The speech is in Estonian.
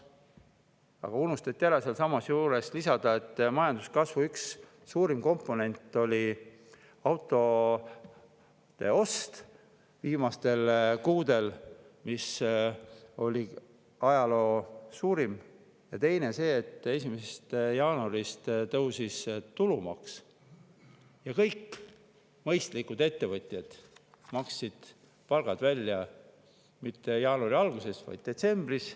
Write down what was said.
Aga unustati lisada, et majanduskasvu üks suurim komponent oli autode ost viimastel kuudel, mis oli ajaloo suurim, ja teine see, et 1. jaanuarist tõusis tulumaks ning kõik mõistlikud ettevõtjad maksid palgad välja mitte jaanuari alguses, vaid detsembris.